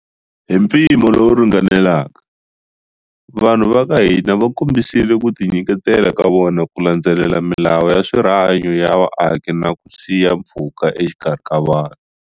Hi mpimo lowu ringanelaka, vanhu va ka hina va kombisile ku tinyiketela ka vona ku landzelela milawu ya swa rihanyu ya vaaki na ku siya mpfhuka exikarhi ka vanhu.